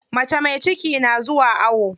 Mace mai ciki na zuwa awo.